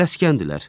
Tələskəndirlər.